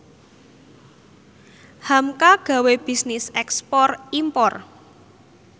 hamka gawe bisnis ekspor impor